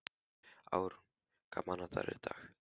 Árún, hvaða mánaðardagur er í dag?